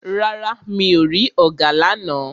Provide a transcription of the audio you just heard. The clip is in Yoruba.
Rárá o, mi ò rí ọ̀gà lána.